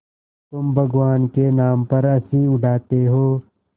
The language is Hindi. तुम भगवान के नाम पर हँसी उड़ाते हो